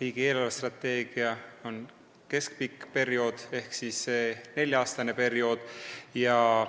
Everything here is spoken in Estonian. riigi eelarvestrateegia tehakse keskpika perioodi ehk nelja-aastase perioodi kohta.